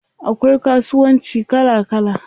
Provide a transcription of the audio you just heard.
Akwai kasuwanci kala kala.